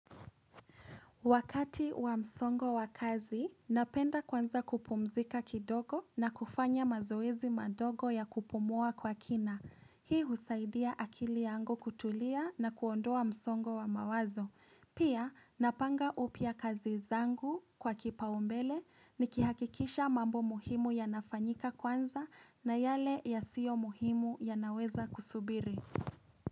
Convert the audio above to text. Wakati wa msongo wa kazi, napenda kwanza kupumzika kidogo na kufanya mazoezi madogo ya kupumua kwa kina. Hii husaidia akili yangu kutulia na kuondoa msongo wa mawazo. Pia, napanga upya kazi zangu kwa kipaumbele nikihakikisha mambo muhimu yanafanyika kwanza na yale yasiyo muhimu yanaweza kusubiri.